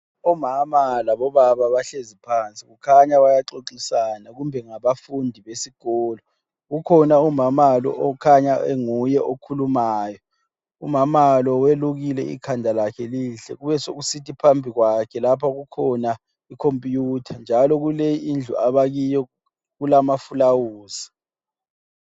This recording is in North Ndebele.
Umama labo baba bahlezi phansi kukhanya bayaxoxisana kumbe ngabafundi besikolo. Kukhona umama lo okhanya onguye okhulumayo. Umamalo welukile ikhanda lakhe lihle. Besekusithi phambi kwakhe lapha ikhona ikhompuyutha. Njalo kule indlu abakiyo kulamafulawuzi.